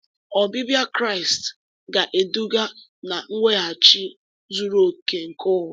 Ọbịbịa Kraịst ga-eduga na mweghachi zuru oke nke ụwa.